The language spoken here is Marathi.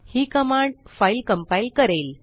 ही कमांड फाईल कंपाइल करेल